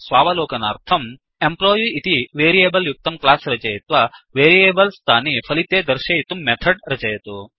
स्वावलोकनार्थम् employee इति variable युक्तं class रचयित्वा वेरियेबल्स् तानि फलिते दर्शयितुं मेथड् रचयतु